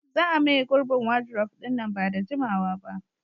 za a maye gurbin wadurof ɗin nan ba da jimawa ba